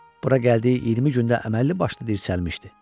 Bura gəldiyi 20 gündə əməlli başlı dirçəlmişdi.